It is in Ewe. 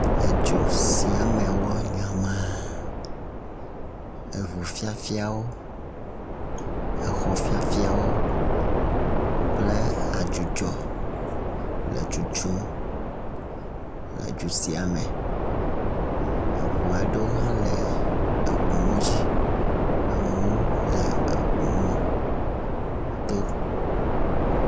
Edzo sia me wɔ nyama. Eŋu fiafiawo, exɔ fiafiawo kple adzudzɔ le tutum le dzo sia me. Eŋu aɖewo hã le eŋumɔ dzi. Amewo hã le eŋu mɔto.